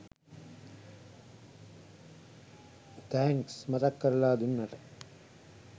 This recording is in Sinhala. තැන්ක්ස් මතක් කරලා දුන්නට